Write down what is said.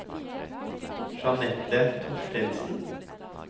Jeanette Thorstensen